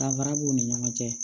Danfara b'u ni ɲɔgɔn cɛ